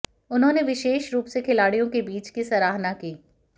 उन्होंने विशेष रूप से खिलाड़ियों के बीच की सराहना की